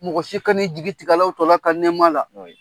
Mɔgɔ si ka n'i jigi tigɛ Alahu tala ka nɛma la